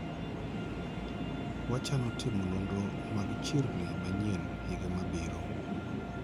wachano timo nonro mag chirni manyien higa mabiro